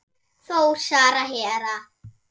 Þór, Sara, Hera.